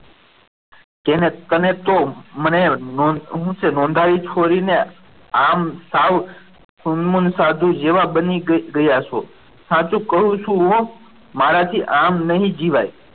અને તેણે તો મને શું છે નોંધાઈ છોરીને આમ સાવ સુન મુન સાધુ જેવા બની ગયા છો સાચું કહું છું હો મારાથી આમ નહીં જીવાય.